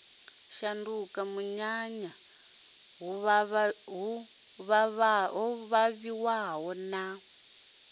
shanduka munyanya hu ṱhavhiwa na